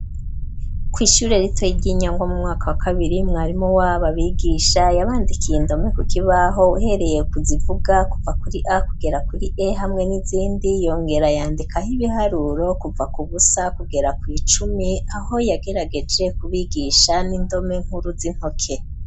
Kw'ishure ritoy ry'inyanga mu mwaka wa kabiri mwarimo wabo abigisha yabandikiye indome kukibaho uhereye kuzivuga kuva kuri a kugera kuri a hamwe n'izindi yongera yandika aho ibiharuro kuva ku busa kugera kw'icumi aho yagerageje kubigisha n'indome nkuru z'intoke.